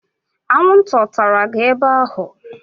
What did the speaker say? Anwụnta ọ tara gị ebe ahụ?